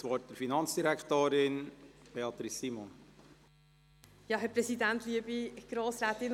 Ich erteile der Frau Finanzdirektorin, Beatrice Simon, das Wort.